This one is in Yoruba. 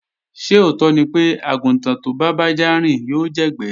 Ṣé òótọ́ ni pé, àgùntàn tó bá bájá rìn yóò jẹ́gbẹ́